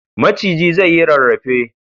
Maciji zai yi rarrafe.